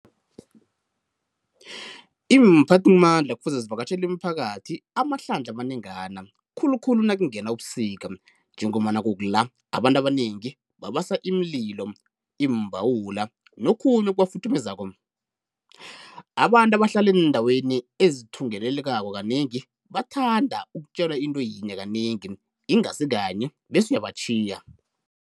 Iimphathimandla kufuze zivakatjhele imiphakathi amahlandlha amanengana khulu khulu nakungena ubusika njengombana kukula abanantu abanengi babasa imililo, iimbhawula nokhunye okuba futhumezako. Abantu abahlala eendaweni ezithungelelekako kanengi bathanda ukutjelwa into yinye kanengi ingasi kanye bese uyabatjhiya.